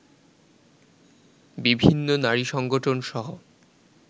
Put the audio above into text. বিভিন্ন নারী সংগঠনসহ